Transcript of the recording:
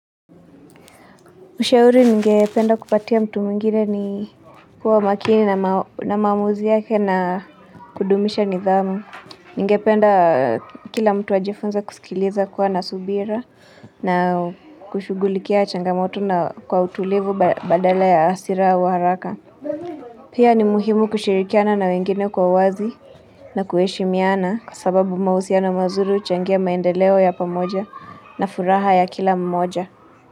Ushauri ningependa kupatia mtu mwingine ni kuwa makini na maamuzi yake na kudumisha nidhamu. Ningependa kila mtu ajifunze kusikiliza kuwa na subira na kushughulikia changamoto na kwa utulivu badala ya hasira au haraka. Pia ni muhimu kushirikiana na wengine kwa uwazi na kuheshimiana kwa sababu mahusiano mazuri huchangia maendeleo ya pamoja na furaha ya kila mmoja.